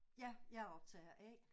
Ja jeg er optager A